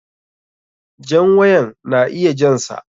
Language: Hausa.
Jan wayan na iya jan sa.